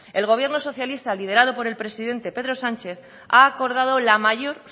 el gobierno socialista liderado por el presidente pedro sánchez ha acordado la mayor